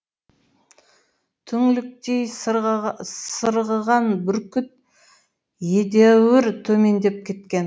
түңліктей сырғыған бүркіт едәуір төмендеп кеткен